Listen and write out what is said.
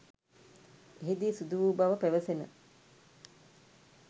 එහි දී සිදු වූ බව පවැසෙන